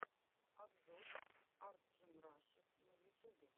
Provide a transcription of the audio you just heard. обзор арджимраши на ютюбе